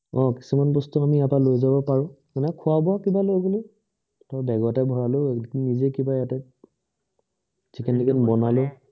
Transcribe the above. অ কিছুমান বস্তু আমি ইয়াৰ পৰা লৈ যাব পাৰো খোৱা বোৱা কিবা লৈ গলো বেগতে ভৰালোঁ নিজে কিবা ইয়াতে chicken টিকেন বনালোঁ